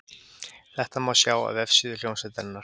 Þetta má sjá á vefsíðu hljómsveitarinnar